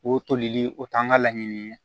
O tolili o t'an ka laɲini ye